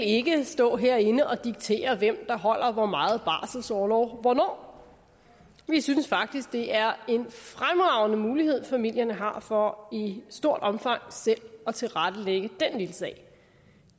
ikke vil stå herinde og diktere hvem der holder hvor meget barselsorlov hvornår vi synes faktisk det er en fremragende mulighed familier har for i stort omfang selv at tilrettelægge den lille sag